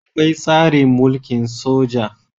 Akwai tsarin mulkin soja